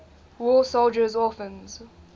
war soldiers orphans